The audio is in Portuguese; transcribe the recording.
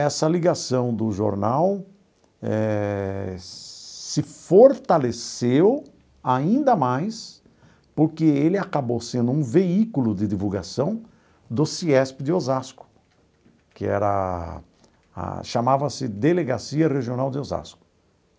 Essa ligação do jornal eh se fortaleceu ainda mais porque ele acabou sendo um veículo de divulgação do CIESP de Osasco, que era a a chamava-se Delegacia Regional de Osasco.